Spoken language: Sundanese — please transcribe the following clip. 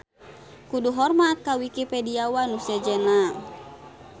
Kudu hormat ka Wikipediawan nu sejenna.